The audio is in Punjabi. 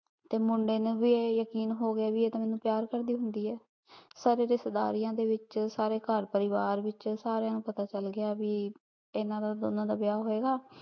ਤੇ ਮੁੰਡੇ ਨੂ ਵੀ ਇਹ ਯਕੀਨ ਹੋਗਯਾ ਭੀ ਆਯ ਤਾਂ ਮੇਨੂ ਪਯਾਰ ਕਰਦੀ ਹੁੰਦੀ ਆਯ ਸਾਰੇ ਰਿਸ਼ਤੇ ਦਰੀਆਂ ਦੇ ਵਿਚ ਸਾਰੇ ਘਰ ਪਰਿਵਾਰ ਵਿਚ ਸਾਰੀਆਂ ਨੁਯ ਪਤਾ ਚਲ ਗਯਾ ਕੀ ਇਹਨਾਂ ਦਾ ਦੋਨਾਂ ਦਾ ਵਿਯਾਹ ਹੋਆਯ ਗਾ